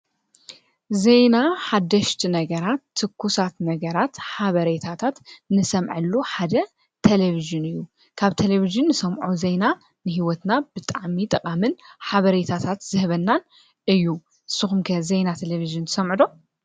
ዘይና ሓደሽቲ ነገራት ትኲሳት ነገራት ሓበሬይታታት ንሰምዐሉ ሓደ ተለብሽን እዩ ካብ ተለብዝን ንሰምዖ ዘይና ንሕይወትና ብጣሚ ጠቓምን ሓበሬታታት ዝህበናን እዩ ስኹምከ ዘይና ተለብዝን ዝሰምዕዶ